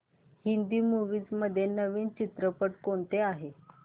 Hindi movies मध्ये नवीन चित्रपट कोणते आहेत